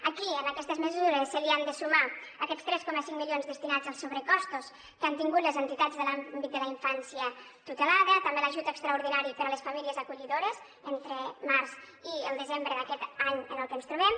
aquí en aquestes mesures s’han de sumar aquests tres coma cinc milions destinats als sobrecostos que han tingut les entitats de l’àmbit de la infància tutelada també l’ajut extraordinari per a les famílies acollidores entre març i desembre d’aquest any en el que ens trobem